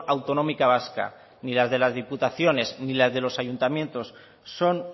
autonómica vasca ni las de las diputaciones ni las de los ayuntamientos son